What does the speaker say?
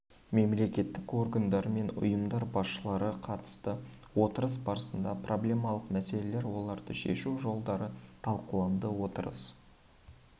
мемлекеттік органдар мен ұйымдар басшылары қатысты отырыс барысында проблемалық мәселелер оларды шешу жолдары талқыланды отырыс